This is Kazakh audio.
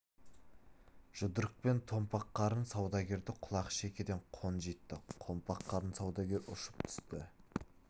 жұдырықпен томпақ қарын саудагерді құлақ шекеден қонжитты томпақ қарын саудагер ұшып түсті